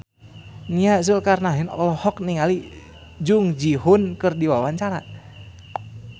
Nia Zulkarnaen olohok ningali Jung Ji Hoon keur diwawancara